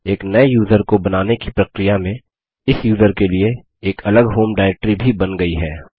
एक नये यूज़र को बनाने की प्रक्रिया में इस यूज़र के लिए एक अलग होम डाईरेक्ट्री भी बन गयी है